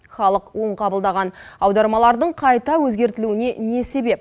халық оң қабылдаған аудармалардың қайта өзгертілуіне не себеп